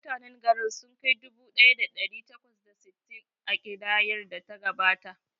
Mutanen garin sun kai dubu ɗaya da ɗari takwas da sittin a kidayar da ta gabata.